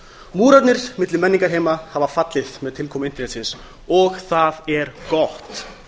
múrarnir milli menningarheima hafa fallið með tilkomu internetsins og það er gott